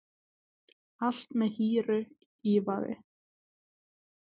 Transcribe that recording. Allt með hýru ívafi